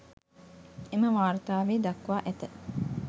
එම වාර්තාවේ දක්වා ඇත.